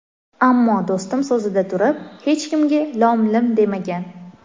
Ammo do‘stim so‘zida turib, hech kimga lom-lim demagan.